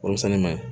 Warimisɛnni ma ɲi